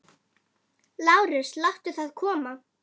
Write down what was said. LÁRUS: Láttu það koma.